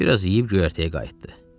Bir az yeyib göyərtəyə qayıtdı.